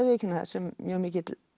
viðurkenna það sem mjög mikill